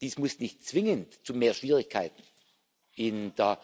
Dies muss nicht zwingend zu mehr Schwierigkeiten in der